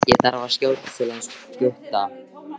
Ég þarf að skjótast til hans Gutta.